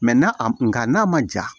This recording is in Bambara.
n'a a n'a ma ja